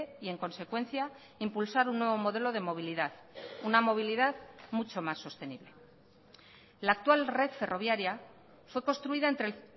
y en consecuencia impulsar un nuevo modelo de movilidad una movilidad mucho más sostenible la actual red ferroviaria fue construida entre el